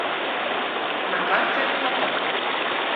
на карте каток